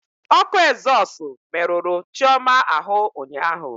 Ọkụ ezọsụ merụrụ Chioma ahụ ụnyaahụ.